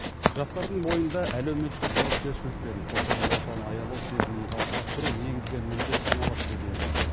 жастардың бойында әлеуметтік жауапкершілік пен қоршаған ортаны аялау сезімін қалыптастыру негізгі міндет саналады деді елбасы